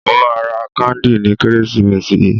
Mo máa ra káńdì ní Kérésìmesì yìí.